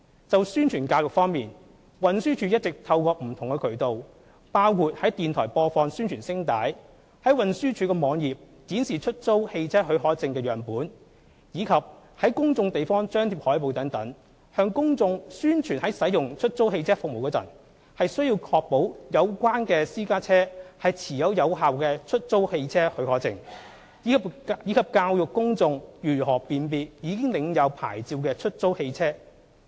在宣傳教育方面，運輸署一直透過不同渠道，包括在電台播放宣傳聲帶、在運輸署網頁展示出租汽車許可證的樣本，以及在公眾地方張貼海報等，向公眾宣傳在使用出租汽車服務時，須確保有關私家車持有有效的出租汽車許可證，以及教育公眾如何辨別已領有牌照的出租汽車。